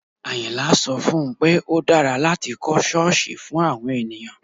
Àyìnlá sọ fún un pé ó dára láti kọ́ ṣọ́ọ̀sì fún àwọn ènìyàn